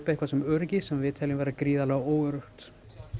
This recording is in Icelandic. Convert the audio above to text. eitthvað sem öryggi sem við teljum vera gríðarlega óöruggt